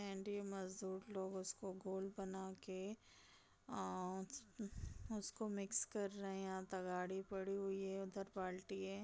And ये मजदूर लोग उसको घोल बना के उसको मिक्स कर रहे हैं यहाँ तगाड़ी पड़ी हुई है उधर बाल्टी है।